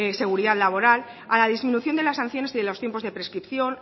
seguridad laboral a la disminución de las sanciones y de los tiempos de prescripción